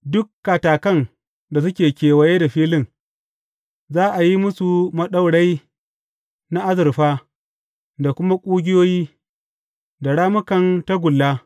Duk katakan da suke kewaye da filin, za a yi musu maɗaurai na azurfa da kuma ƙugiyoyi, da rammukan tagulla.